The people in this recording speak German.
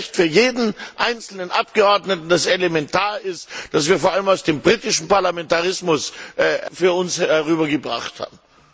Es ist ein Recht für jeden einzelnen Abgeordneten, das elementar ist, das wir vor allem aus dem britischen Parlamentarismus zu uns herüber gebracht haben.